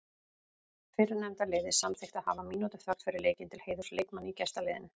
Fyrrnefnda liðið samþykkti að hafa mínútu þögn fyrir leikinn til heiðurs leikmanni í gestaliðinu.